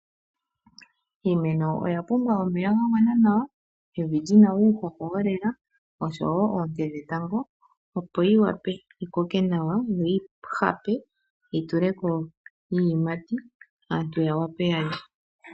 Iimeno oya pumbwa omeya ga gwana nawa, evi lyina uuhoho wolela nosho woo oonte dhetango opo yi wape yikoke nawa yo yi hape, yi tuleko iiyimati aantu yo yawa pe yalye.